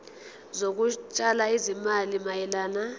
zokutshala izimali mayelana